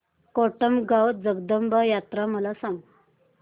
कोटमगाव जगदंबा यात्रा मला सांग